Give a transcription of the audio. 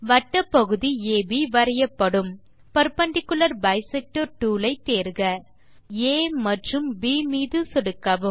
வட்டப் பகுதி அப் வரையப்படும் பெர்பெண்டிக்குலர் பைசெக்டர் டூல் ஐ தேர்க புள்ளிகள் ஆ மற்றும் ப் மீது சொடுக்கவும்